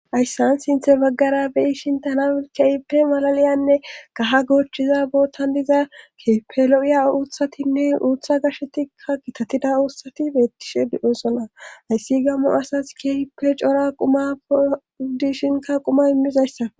Ayssan sinthe baggara beyishintana keeyipe malaliyanne kaha goochiza bootan diza keepe lo'iya uuthatinne uutha gashetikka kitatida uutsati beettishe di'eosona hayssi gammo asas keefipe cora quma pooudishinka quma immizayssa.